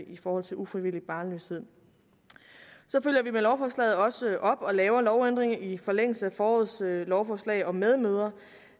i forhold til ufrivillig barnløshed så følger vi med lovforslaget også op og laver lovændringer i forlængelse af forårets lovforslag om medmødre